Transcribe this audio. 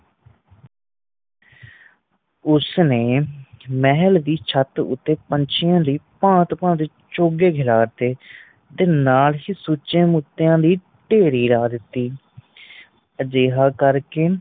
ਉਸਨੇ ਮਹੱਲ ਦੀ ਛੱਤ ਤੇ ਪੰਛੀਆਂ ਲਈ ਭਾਂਤ ਭਾਂਤ ਦੇ ਚੋਗੇ ਗਿਰਾਂ ਤੇ ਨਾਲ ਹੀ ਸੁਚੇ ਮੋਤੀਆਂ ਦੀ ਢੇਰੀ ਲੱਗਾਤੀ ਅਜੇਯਾ ਕਰਕੇ